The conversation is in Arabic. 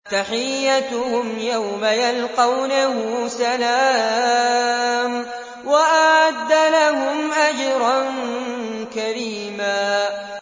تَحِيَّتُهُمْ يَوْمَ يَلْقَوْنَهُ سَلَامٌ ۚ وَأَعَدَّ لَهُمْ أَجْرًا كَرِيمًا